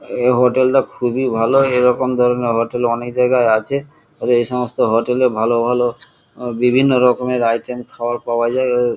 এই হোটেল টা খুবই ভালো এরকম ধরনের হোটেল অনেক জায়গায় আছে এই সমস্ত হোটেল এ ভালো ভালো অ বিভিন্ন রকমের আইটেম খাবার পাওয়া যায় এ--